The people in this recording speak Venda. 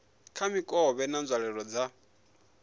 kha mikovhe na nzwalelo dza